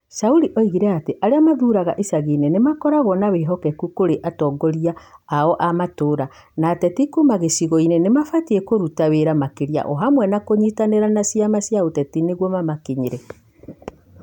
Shauri oigire atĩ arĩa mathuuragĩra icagi-inĩ ni makoragwo na "wĩhokeku" Kũrĩ atongoria ao ma matũũra, no ateti Kuuma gĩcigo-inĩ nĩ mabatie kũruta wĩra makĩria o hamwe na kũnyitanĩra na ciama cia ũteti nĩguo mamakinyĩre.